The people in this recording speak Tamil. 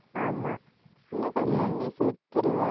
ஆமா. இன்னும் கொஞ்ச நாள்ல நீ செத்துருவ,